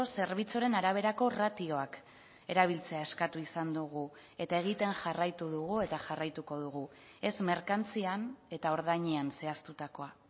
zerbitzuaren araberako ratioak erabiltzea eskatu izan dugu eta egiten jarraitu dugu eta jarraituko dugu ez merkantzian eta ordainean zehaztutakoa